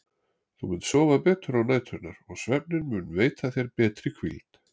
Þú munt sofa betur á næturnar og svefninn mun veita þér betri hvíld.